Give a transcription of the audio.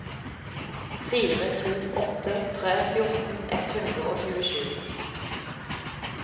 fire to åtte tre fjorten ett hundre og tjuesju